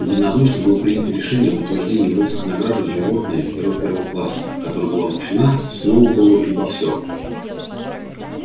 единодушно было принято решение об утверждении воинской награды животное герой первого класса которая была вручена сноуболлу и боксёру